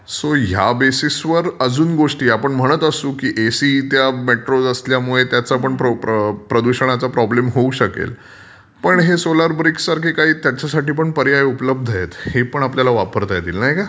So ह्या basis वर अजून गोष्टी आपण म्हणत असू की एसी त्या मेतरोट असल्यामुळे त्याचा पण प्रदूषणाचा प्रॉब्लेम होऊ शकेल.पण हे सोलार ब्रिक सारखे काही पर्याय त्याच्यासाठी पण उपलब्ध आहेत. हे पण आपल्याला वापरता येतील. नाही का?